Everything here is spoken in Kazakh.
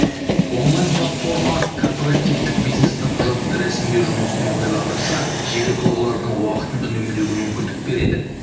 онлайн платформа корпоративтік бизнестің құжатты рәсімдеу жұмысын оңтайландырса жеке тұлғалардың уақытын үнемдеуге мүмкіндік береді